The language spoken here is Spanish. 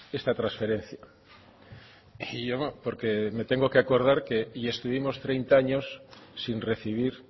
esta transferencia y yo porque me tengo que acordar que y estuvimos treinta años sin recibir